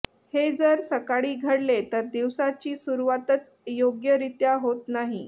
हे जर सकाळी घडले तर दिवसाची सुरुवातच योग्यरीत्या होत नाही